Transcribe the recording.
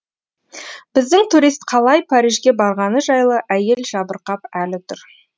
біздің турист қалай парижге барғаны жайлы әйел жабырқап әлі тұр